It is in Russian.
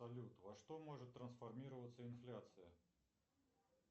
салют во что может трансформироваться инфляция